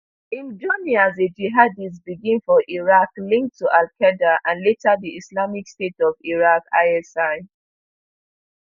im journey as a jihadist begin for iraq linked to alqaeda and later di islamic state of iraq isi